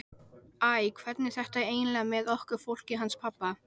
Steinþóra, hvaða dagur er í dag?